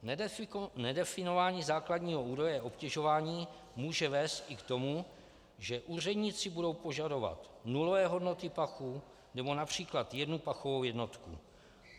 Nedefinování základního údaje obtěžování může vést i k tomu, že úředníci budou požadovat nulové hodnoty pachu nebo například jednu pachovou jednotku.